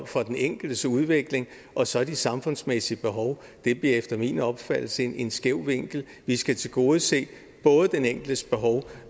for den enkeltes udvikling og så de samfundsmæssige behov bliver efter min opfattelse en skæv vinkel vi skal tilgodese både den enkeltes behov